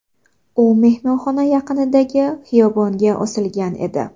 U mehmonxona yaqinidagi xiyobonga osilgan edi.